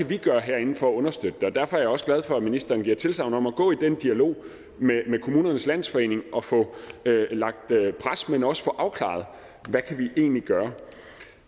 kan gøre herinde for at understøtte den derfor er jeg også glad for at ministeren giver tilsagn om at gå ind i den dialog med kommunernes landsforening og få lagt pres men også få afklaret hvad